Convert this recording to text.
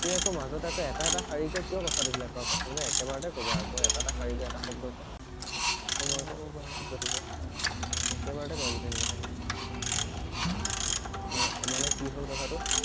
সি আকৌ মাজত আকৌ এটা এটা শাৰীকৈ কিয় কথা বিলাক কোৱা কথা বিলাক একেবাৰতে কব আকৌ এটা এটা শাৰীকে এটা শব্দ কোৱা আকৌ মই হব বাৰু একেবাৰতে কবা গোটেই কথা খিনি অকে ন মানে কি হল কথাটো